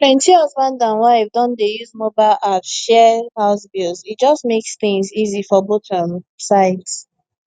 plenty husband and wife don dey use mobile apps share house bills e just make things easy for both um sides